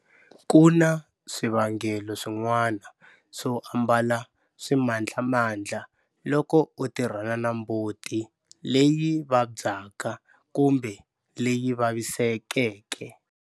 Ku na swivangelo swin'wana swo ambala swimandlamandla loko u tirhana na mbuti leyi vabyaka kumbe leyi vavisekeke.